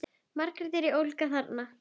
Margt er í ólagi þarna.